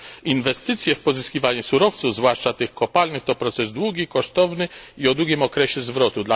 Inwestycje w pozyskiwanie surowców, zwłaszcza tych kopalnych, to proces długi, kosztowny i o długim okresie zwrotu.